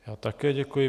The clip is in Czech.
Já také děkuji.